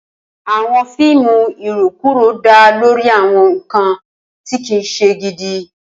Awọn fiimu irokuro da lori awọn nkan ti kii ṣe gidi